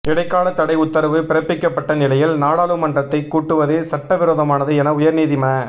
இடைக்கால தடை உத்தரவு பிறப்பிக்கப்பட்ட நிலையில் நாடாளுமன்றத்தை கூட்டுவது சட்டவிரோதமானது என உயர் நீதிம